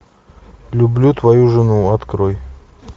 люблю твою жену открой